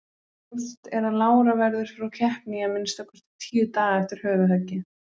Ljóst er að Lára verður frá keppni í að minnsta kosti tíu daga eftir höfuðhöggið.